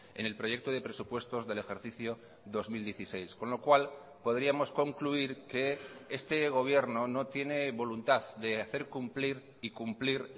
en el proyecto de presupuestos del ejercicio dos mil dieciséis con lo cual podríamos concluir que este gobierno no tiene voluntad de hacer cumplir y cumplir